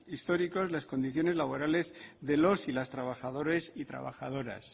históricos las condiciones laborales de los y las trabajadores y trabajadoras